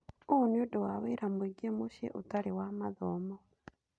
ũũ nĩ ũndũ wa wĩra mũingĩ mũciĩ ũtarĩ wa mathomo.